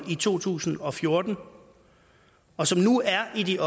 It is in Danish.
i to tusind og fjorten og som nu er i